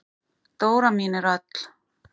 Dóra mín er öll.